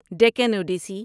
Deccan Odissi